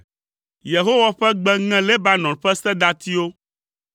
Yehowa ƒe gbe ŋe Lebanon ƒe sedatiwo.